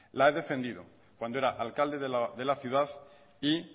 la he defendido cuando era alcalde de la ciudad y